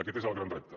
aquest és el gran repte